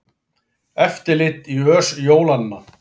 Eftirlit í ös jólanna